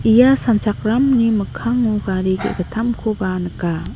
ia sanchakramni mikango gari ge·gittamkoba nika.